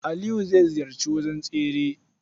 Aliyu zai ziyarci wajen tsere.